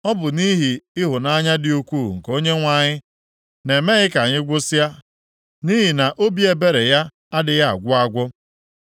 Ọ bụ nʼihi ịhụnanya dị ukwuu nke Onyenwe anyị na-emeghị ka anyị gwụsịa, nʼihi na obi ebere ya adịghị agwụ agwụ.